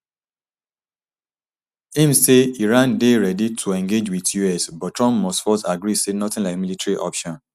im say iran dey ready to engage wit us but trump must first agree say nothing like military option